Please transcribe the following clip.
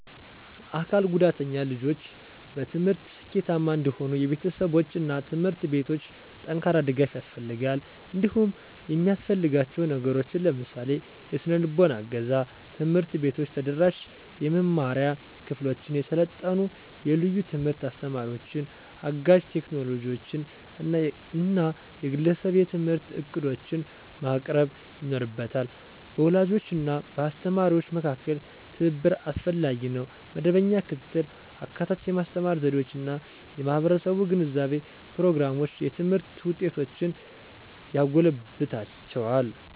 አካል ጉዳተኛ ልጆች በትምህርት ስኬታማ እንዲሆኑ የቤተሰቦች እና ትምህርት ቤቶች ጠንካራ ድጋፍ ያስፈልጋቸዋል። እንዲሁም የሚያሰፍልጋችው ነገሮችን ለምሳሌ -; የሰነልቦና እገዛ፣ ትምህርት ቤቶች ተደራሽ የመማሪያ ክፍሎችን፣ የሰለጠኑ የልዩ ትምህርት አስተማሪዎችን፣ አጋዥ ቴክኖሎጂዎችን እና የግለሰብ የትምህርት ዕቅዶችን ማቅረብ ይኖርበታ። በወላጆች እና በአስተማሪዎች መካከል ትብብር አስፈላጊ ነው. መደበኛ ክትትል፣ አካታች የማስተማር ዘዴዎች እና የማህበረሰብ ግንዛቤ ፕሮግራሞች የትምህርት ውጤቶችን ያጎለብትላቸዋል።